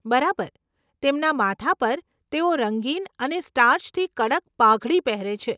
બરાબર! તેમના માથા પર, તેઓ રંગીન અને સ્ટાર્ચથી કડક પાઘડી પહેરે છે.